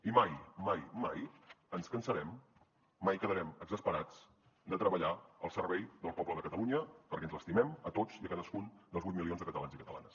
i mai mai mai ens cansarem mai quedarem exasperats de treballar al servei del poble de catalunya perquè ens estimem a tots i cadascun dels vuit milions de catalans i catalanes